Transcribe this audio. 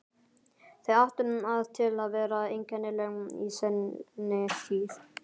Þau áttu það til að vera einkennileg í seinni tíð.